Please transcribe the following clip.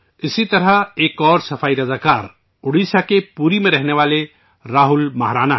اسی طرح ایک اور سووچھ گرہی ہیں اڑیسہ میں پوری کے راہل مہارانا